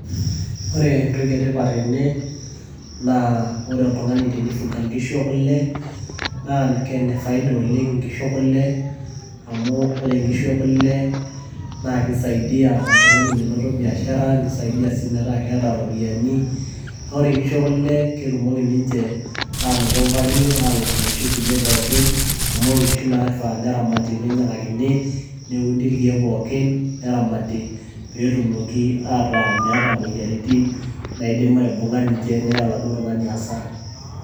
Ore entoki etipat tene naa ore oltung'ani teneifuga inkishu ekule naa ine faida oleng inkishu ekule amu ore inkishu ekule naa keisaidia oltung'ani menoto biashara neisaidia sii metaa keeta ropiyiani naa ore inkishu ekule naa ketumoki ninche aanoto value aaaalang inoshi kisi kulie pookin amu inkishu naifaa neramati neinyiang'akini neudi irkiek pookin neramati peetumoki ataa meeta imoyiaritin naidim ainung'a ninche neya aladuo tung'ani hasara.